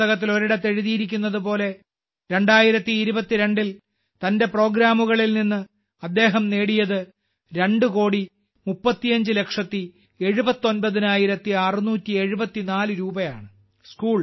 പുസ്തകത്തിൽ ഒരിടത്ത് എഴുതിയിരിക്കുന്നതുപോലെ 2022 ൽ തന്റെ പ്രോഗ്രാമുകളിൽ നിന്ന് അദ്ദേഹം നേടിയത് രണ്ട് കോടി മുപ്പത്തിയഞ്ച് ലക്ഷത്തി എഴുപത്തൊമ്പതിനായിരത്തി അറുനൂറ്റി എഴുപത്തിനാല് രൂപയാണ്